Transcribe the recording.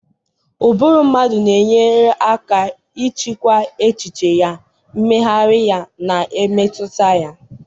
Ụbụrụ mmadụ na-enyere aka ịchịkwa echiche ya, mmegharị ya, na mmetụta ya.